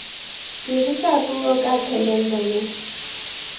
dirisa puo ka thelelo le